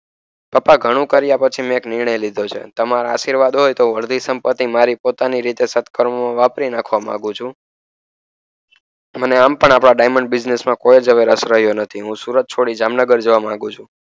પપ્પા ઘણું કારિયા પછી મેં નિર્ણય લીધો છે તમારા આશીર્વાદ હોય તો અડધી સંપત્તિ હું મારી રીતે વાપરી નાખવા માંગુ છું હું સુરત છોડી જામનગર જવા માંગુ છું.